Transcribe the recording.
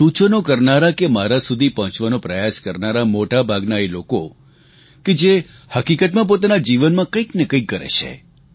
સૂચનો કરનારાં કે મારા સુધી પહોંચવાનો પ્રયાસ કરનારા મોટાભાગના એ લોકો છે જે હકીકતમાં પોતાના જીવનમાં કંઈક ને કંઈક કરે છે